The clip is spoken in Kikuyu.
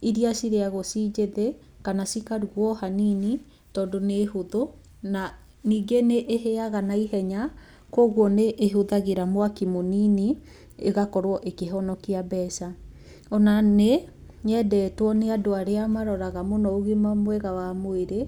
iria cirĩagwo cinjĩthĩ kana cikarugwo hanini, tondũ nĩ hũthũ na ningĩ nĩ ĩhĩaga na ihenya koguo nĩ ĩhũthagĩra mwaki mũnini ĩgakorwo ĩkĩhonokia mbeca. Ona nĩ yendetwo nĩ andũ arĩa maroraga mũno ũgima mwega wa mwĩrĩ,